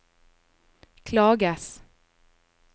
klages